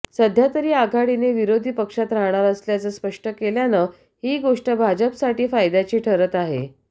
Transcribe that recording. सध्या तरी आघाडीने विरोधी पक्षात राहणार असल्याचं स्पष्ट केल्यानं ही गोष्ट भाजपसाठी फायद्याची ठरत आहे